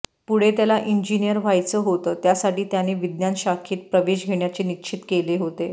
पुढे त्याला इंजिनीअर व्हायचं होत त्यासाठी त्याने विज्ञान शाखेत प्रवेश घेण्याचे निश्चित केले होते